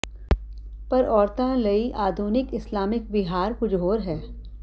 ਪਰ ਔਰਤਾਂ ਲਈ ਆਧੁਨਿਕ ਇਸਲਾਮਿਕ ਵਿਹਾਰ ਕੁਝ ਹੋਰ ਹੈ